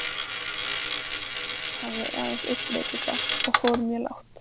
Maður þessi hafði aðeins einn veikleika og fór mjög lágt.